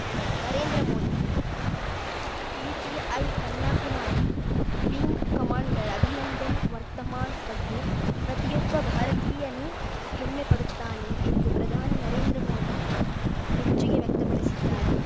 Narendra Modi PTI Kanyakumari wing commander Abhinandan Varthaman ಬಗ್ಗೆ ಪ್ರತಿಯೊಬ್ಬ ಭಾರತೀಯನೂ ಹೆಮ್ಮೆಪಡುತ್ತಾನೆ ಎಂದು ಪ್ರಧಾನಿ ನರೇಂದ್ರ ಮೋದಿ ಮೆಚ್ಚುಗೆ ವ್ಯಕ್ತಪಡಿಸಿದ್ದಾರೆ